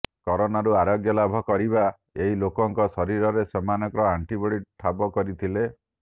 କରୋନାରୁ ଆରୋଗ୍ୟ ଲାଭ କରିଥିବା ଏହି ଲୋକଙ୍କ ଶରୀରରେ ସେମାନେ ଆଣ୍ଟିବଡି ଠାବ କରିଥିଲେ